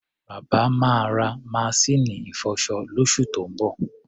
Bàbá máa ra maṣíìnì ìfọṣọ lóṣù tó ń bọ̀.